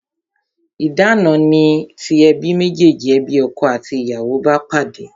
Idana ni ti ebi mejeji, ebi ọkọ àti ìyàwó bá pàdé